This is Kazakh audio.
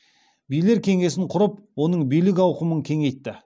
билер кеңесін құрып оның билік ауқымын кеңейтті